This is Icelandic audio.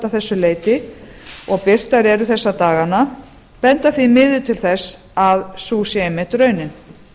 þessu leyti og birtar eru þessa dagana enda því miður til þess að sú sé einmitt raunin